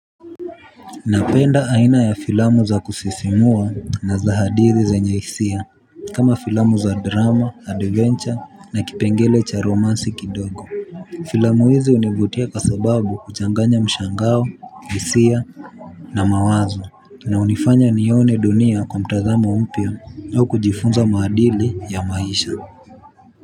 Napenda aina ya filamu za kusisimua na za hadithi zenye hisia kama filamu za drama, adventure na kipengele cha romansi kidogo. Filamu hizi hunivutia kwa sababu huchanganya mshangao hisia. Na mawazo inayonifanya nione dunia kwa mtazamo mpya na kujifunza maadili ya maisha.